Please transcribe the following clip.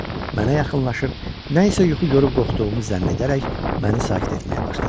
Mənə yaxınlaşıb nə isə yuxu görüb qorxduğumu zənn edərək məni sakit etməyə başladı.